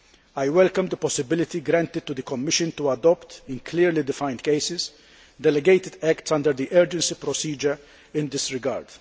I welcome the possibility granted to the Commission to adopt, in clearly defined cases, delegated acts under the urgency procedure in this regard.